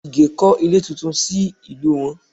Ìgè kọ́ ilé tuntun sí ìlú wọn